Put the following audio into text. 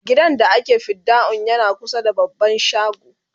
gidan da ake fidda'un yana kusa da baban shago